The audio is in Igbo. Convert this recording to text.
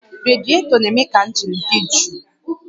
Radietọ na-eme ka injin dị jụụ